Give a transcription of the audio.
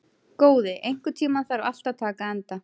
Góði, einhvern tímann þarf allt að taka enda.